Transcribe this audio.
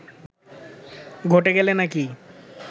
ঘটে গেলে নাকি